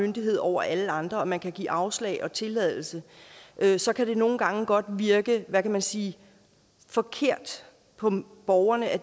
myndighed over alle andre og man kan give afslag og tilladelse så kan det nogle gange godt virke hvad kan man sige forkert på borgerne at